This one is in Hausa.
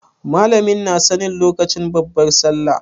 Malamin na nan lokacin babbar sallah?